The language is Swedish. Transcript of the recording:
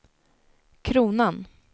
kronan